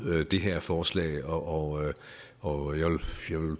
det her forslag og og jeg vil